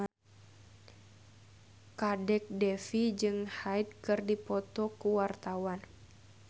Kadek Devi jeung Hyde keur dipoto ku wartawan